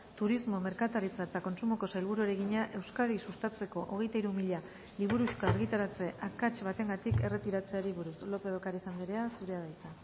turismo merkataritza eta kontsumoko sailburuari egina euskadi sustatzeko hogeita hiru mila liburuxka argitaratze akats batengatik erretiratzeari buruz lópez de ocariz andrea zurea da hitza